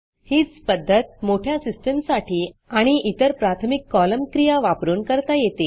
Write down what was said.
हीच पध्दत मोठ्या सिस्टीम्ससाठी आणि इतर प्राथमिक columnकॉलम क्रिया वापरून करता येते